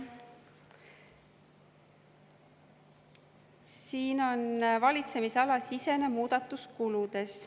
Siin on valitsemisalasisene muudatus kuludes.